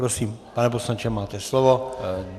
Prosím, pane poslanče, máte slovo.